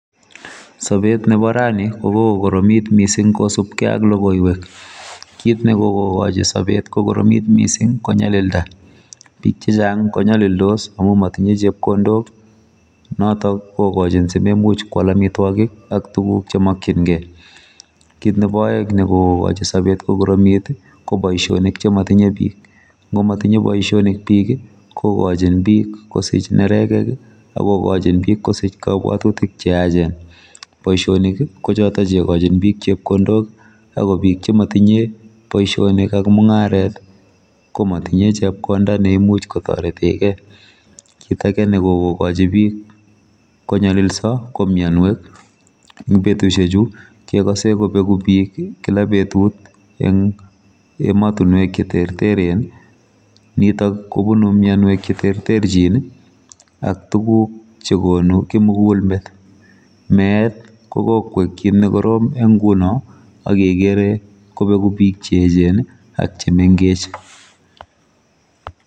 Sabeet ne bo raani ko kokoromiit missing kosupkei ak logoiywek Kitne kokochi sabet kokoromiit missing ii ko nyalildaa, biik chechaang ko nyalildos ii ako matinyei chepkondook, notoon kikochiin simamuuch ko kwaal amitwagiik ak tuguuk che makyingei kit nebo aeng nekokochiin sabeet kokoromiit ii ko boisionik che matinyei biik ngo matinyei boisionik biik ii ko kachiin biik kosiich neregeh ii akokachiin biik kosiich kabwatutik che yacheen, boisionik ii ko chotoon che kaik biik kosiich chepkondook, ago biik chematinyei boisionik ak mungaret ii komatinyei chepkondaa neimuuch kotareteen gei kit ko nyalisa ko mianweek eng betusiek chuu kegasei kobegu biik kila betut eng ematinweek che eecheen nitoog kobunui mianweek che terterjiin ii ak tuguuk che konuu kimugul meet meet ko koek kiit ne korom eng ngunoo agere kobeguu biik che eecheen ak che mengeech.